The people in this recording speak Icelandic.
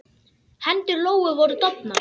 Hendur Lóu voru dofnar.